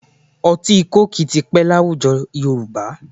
Ọtí kóòkì ti pẹ́ láwùjọ Yorùbá